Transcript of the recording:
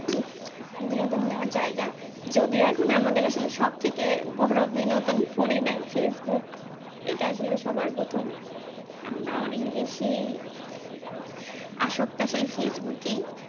বিনোদন নেওয়ার জায়গা যদিও এখন আমাদের আসলে সবথেকে বড় বিনোদন ফোন ই দেয় facebook এটা আসলে সবার প্রথম আমরা অনেক বেশি আসক্ত আসলে facebook এই